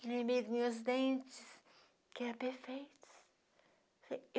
Que nem mesmo meus dentes, que eram perfeitos.